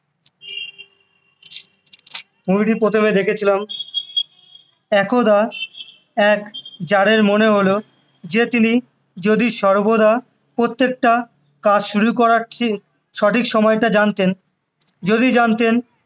movie টি প্রথমে দেখেছিলাম একদা এক জারের মনে হলো যে তিনি যদি সৰ্বদা প্রত্যেকটা কাজ শুরু করার ঠিক সঠিক সময়টা জানতেন যদি জানতেন